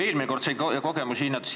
Eelmine kord sai siin kogemusi hinnata.